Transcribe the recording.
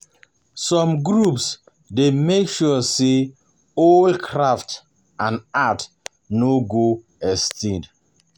Some groups dey make sure say old craft and art no go go extinct